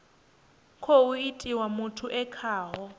khou itiwa muthu e khaho